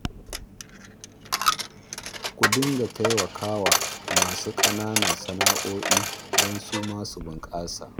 Ku dinga taimaka wa masu ƙananan sana'o'i don su ma su bunƙasa